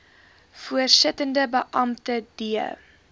voorsittende beampte d